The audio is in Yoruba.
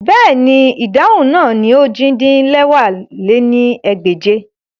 Bẹ́ẹ̀ni, idahun naa ni ojì-din-lẹwá lé ní ẹgbẹ́je